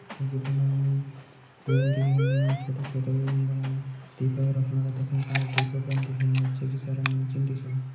त की फणा हमी दिखेण लगयां छोटा छोटा वेन बणाया दीपक रखणा त कि फणा दीपकन दिखेण। नीचे की सारा मनखिन दिखेणु।